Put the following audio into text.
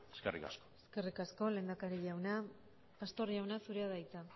eskerrik asko eskerrik asko lehendakari jauna pastor jauna zurea da hitza